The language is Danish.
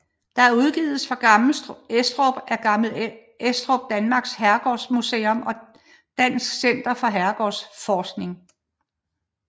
Det udgives fra Gammel Estrup af Gammel Estrup Danmarks Herregårdsmuseum og Dansk Center for Herregårdsforskning